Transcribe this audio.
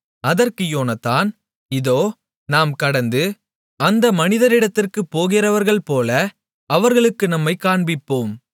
அதற்கு யோனத்தான் இதோ நாம் கடந்து அந்த மனிதரிடத்திற்குப் போகிறவர்கள்போல அவர்களுக்கு நம்மைக் காண்பிப்போம்